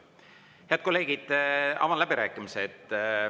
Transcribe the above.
Head kolleegid, avan läbirääkimised.